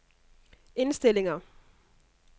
indstillinger